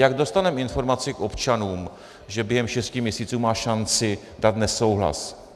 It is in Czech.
Jak dostaneme informaci k občanům, že během šesti měsíců má šanci dát nesouhlas?